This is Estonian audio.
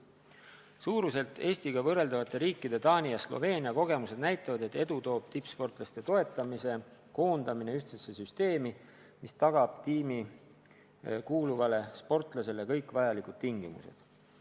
Suuruselt Eestiga võrreldavate riikide Taani ja Sloveenia kogemused näitavad, et edu toob tippsportlaste toetamise koondamine ühtsesse süsteemi, mis tagab tiimi kuuluvale sportlasele kõik vajalikud tingimused.